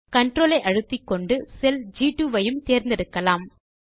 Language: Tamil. CTRL விசையை அழுத்திக்கொண்டு செல் ஜி2 ஐயும் கூட தேர்ந்தெடுப்போம்